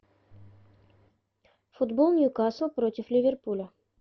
футбол ньюкасл против ливерпуля